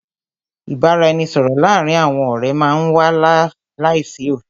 Ìbáraẹnisọ̀rọ̀ láàárín àwọn ọ̀rẹ́ má n wà láìsí òfin.